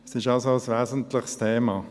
Es ist also ein wesentliches Thema.